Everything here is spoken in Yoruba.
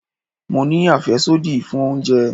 Mo ní àfẹ́sódì fún oúnjẹ.